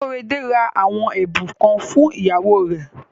Kóredé ra àwọn ẹ̀bùn kan fún ìyàwó rẹ̀.